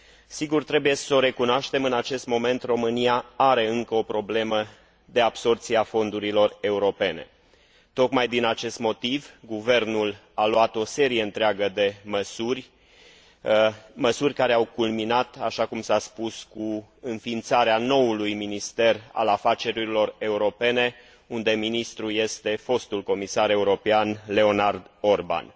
Sigur, trebuie s o recunoaștem, în acest moment România are încă o problemă de absorbție a fondurilor europene. Tocmai din acest motiv, guvernul a luat o serie întreagă de măsuri, măsuri care au culminat, așa cum s a spus, cu înființarea noului Minister al Afacerilor Europene, unde ministrul este fostul comisar european Leonard Orban.